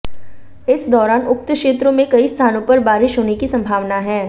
इस दौरान उक्त क्षेत्रों में कई स्थानों पर बारिश होने की संभावना है